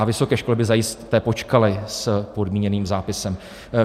A vysoké školy by zajisté počkaly s podmíněným zápisem.